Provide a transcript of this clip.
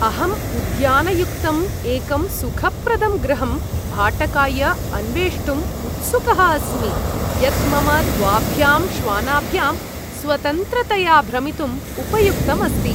अहम् उद्यानयुक्तं एकं सुखप्रदं गृहम् भाटकाय अन्वेष्टुं उत्सुकः अस्मि, यत् मम द्वाभ्यां श्वानाभ्यां स्वतन्त्रतया भ्रमितुम् उपयुक्तम् अस्ति।